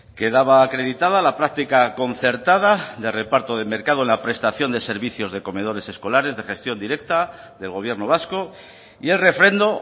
quedaba acreditada la práctica concertada de reparto de mercado en la prestación de servicios de comedores escolares de gestión directa del gobierno vasco y el refrendo